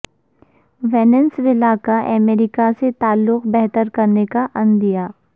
Venezuela کا امریکہ سے تعلقات بہتر کرنے کا عندیہ